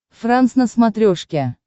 франс на смотрешке